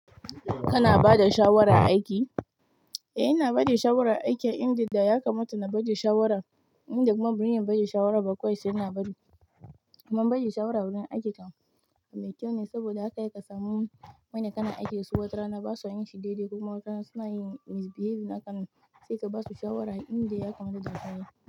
Kana bada shawara a aiki? Eh ina bada shawara a aiki, inda da ya kamata na bada shawara. Inda kuma ban iya bada shawara ba kawai saina bari kuma bada shawara wurin aiki kam bai kyau ne saboda zaka iya kasami wanda kana aiki da su watarana ba su yin shidaidai kuma watarana suna yin misbehave hakanan. Sai ka basu shawara inda ya kamata ya yi.